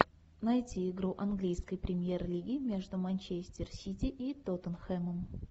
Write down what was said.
найти игру английской премьер лиги между манчестер сити и тоттенхэмом